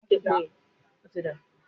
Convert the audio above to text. Bẹ́ẹ̀ ni, mò ń lọ ìrìn-àjọ.